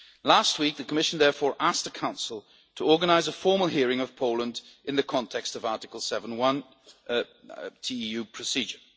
Last week, the Commission therefore asked the Council to organise a formal hearing of Poland in the context of the Article 7 TEU procedure.